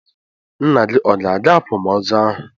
Nna gị ọ ga-aga akwamoozụ ahu?